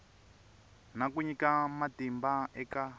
na ku nyika matimba eka